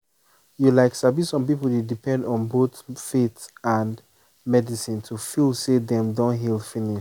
you like sabi some people dey depend on both faith and medicine to feel say dem don heal finish